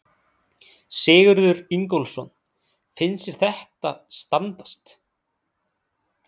Sigurður Ingólfsson: Finnst þér þetta standast?